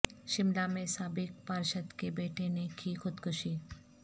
شملہ میں سابق پارشد کے بیٹے نے کی خودکشی